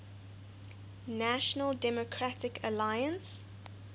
national democratic alliance